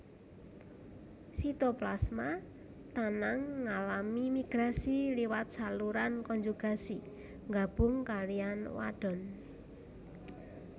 Sitoplasma tanang ngalami migrasi liwat saluran konjugasi nggabung kaliyan wadon